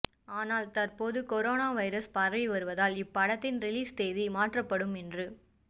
ஆனால் தற்போது corona virus பரவி வருவதால் இப்படத்தின் ரிலீஸ் தேதி மாற்றப்படும் என்று